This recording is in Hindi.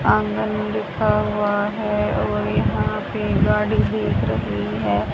आंगन लिखा हुआ है और यहां पे गाड़ी देख रही है।